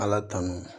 Ala tanu